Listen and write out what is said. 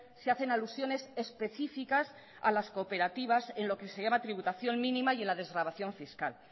se hacen alusiones específicas a las cooperativas en lo que se llama tributación mínima y en la desgravación fiscal